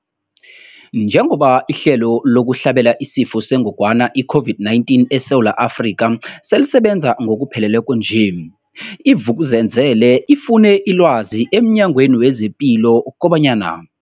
Njengoba ihlelo lokuhlabela isiFo sengogwana i-Corona, i-COVID-19, eSewula Afrika selisebenza ngokupheleleko nje, i-Vuk'uzenzele ifune ilwazi emNyangweni wezePilo kobanyana.